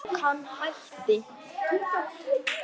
Hann hætti.